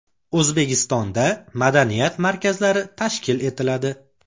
O‘zbekistonda madaniyat markazlari tashkil etiladi.